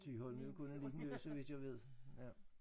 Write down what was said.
Thyholm er jo kun en liden ø så vidt jeg ved ja